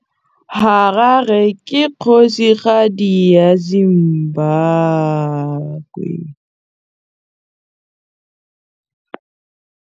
Harare ke kgosigadi ya Zimbabwe.